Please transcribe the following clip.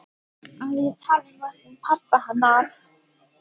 Að ég tali nú ekki um pabba hennar.